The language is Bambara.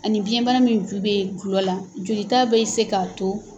Ani biyɛnbana min ju bɛ dɔlɔ la ,joli ta bɛ se k'a to